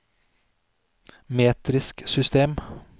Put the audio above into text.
metrisk system